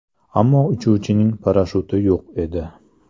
Ammo uchuvchining parashyuti yo‘q edi.